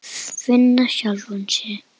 Finna sjálfa sig.